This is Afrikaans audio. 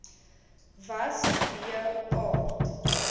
was b aard